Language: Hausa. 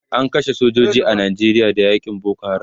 an kashe sojoji a Nijeria Da yakin Boko haram